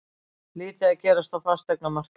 Lítið að gerast á fasteignamarkaði